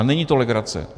A není to legrace.